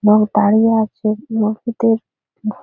লোক দাঁড়িয়ে আছে মসজিত -এর ভ--